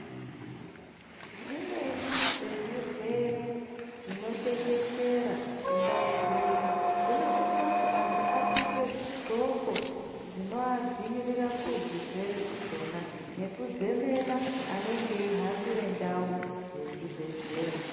Zvimweni zvezvirwere zvinotekeshera mundau dzeshe dzinosisa kuti vantu vapfeke zvindxokho zvinovadzivirira kuzvirwere izvona nekuzemena vanenge vechihambira ndau dzezvi bhehlera.